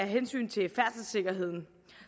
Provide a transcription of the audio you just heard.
hensyn til færdselssikkerheden